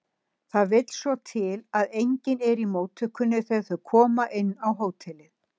Það vill svo til að enginn er í móttökunni þegar þau koma inn á hótelið.